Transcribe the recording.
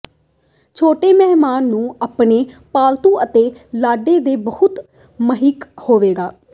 ਛੋਟੇ ਮਹਿਮਾਨ ਨੂੰ ਆਪਣੇ ਪਾਲਤੂ ਅਤੇ ਲਾੜੇ ਦੇ ਬਹੁਤ ਸਹਾਇਕ ਹੋਵੇਗਾ